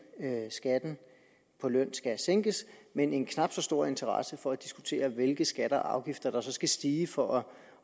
skatten på løn skal sænkes men en knap så stor interesse for at diskutere hvilke skatter og afgifter der så skal stige for at